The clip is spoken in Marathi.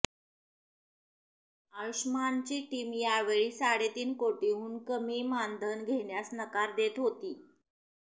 आयुष्मानची टीम यावेळी साडेतीन कोटींहून कमी मानधन घेण्यास नकार देत होती